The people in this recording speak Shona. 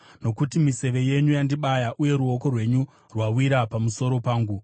Nokuti miseve yenyu yandibaya, uye ruoko rwenyu rwawira pamusoro pangu.